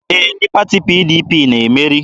Ee, ndị pati PDP na-emeri.